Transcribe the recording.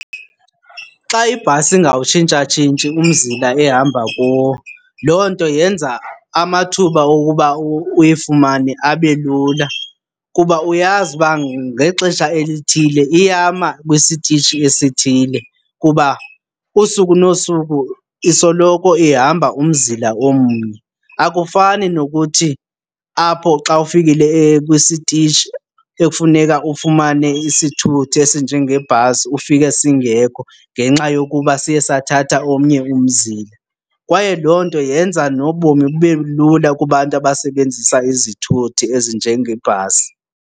Xa ibhasi ingawutshintshatshintshi umzila ehamba kuwo loo nto yenza amathuba okuba uyifumane abe lula kuba uyazi uba ngexesha elithile iyama kwisitishi esithile kuba usuku nosuku isoloko ihamba umzila omnye. Akufani nokuthi apho xa ufikile kwisitishi ekufuneka ufumane isithuthi esinjengebhasi ufike singekho ngenxa yokuba siye sathatha omnye umzila. Kwaye loo nto yenza nobomi bube lula kubantu abasebenzisa izithuthi ezinjengebhasi.